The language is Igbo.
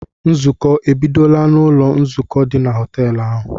Nzukọ a ebidola n'ụlọ nzukọ dị na họtel ahụ?